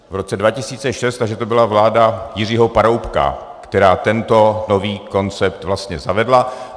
V roce 2006, takže to byla vláda Jiřího Paroubka, která tento nový koncept vlastně zavedla.